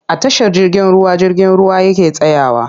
A tashar jirgin ruwa jirgin ruwa yake tsayawa.